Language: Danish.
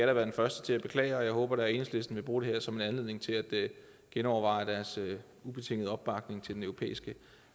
da være den første til at beklage men jeg håber da at enhedslisten vil bruge det her som en anledning til at genoverveje deres ubetingede opbakning til den europæiske